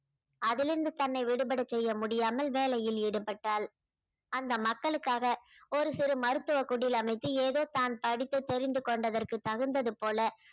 அதிலிருந்து தன்னை விடுபட செய்ய முடியாமல் வேலையில் ஈடுபட்டாள் அந்த மக்களுக்காக ஒரு சிறு மருத்துவ குடில் அமைத்து ஏதோ தான் படித்து தெரிந்து கொண்டதற்கு தகுந்தது போல